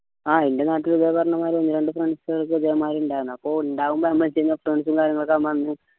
ആഹ് എൻറെ നാട്ടിലെ ഇതേ പറഞ്ഞ മാതിരി ഒന്ന് രണ്ട് friends ന് ഇതേമാരി ഇണ്ടായിരുന്നു അപ്പോ ഇണ്ടാവുമ്പോ